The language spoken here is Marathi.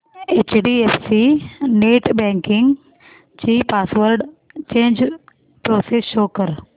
एचडीएफसी नेटबँकिंग ची पासवर्ड चेंज प्रोसेस शो कर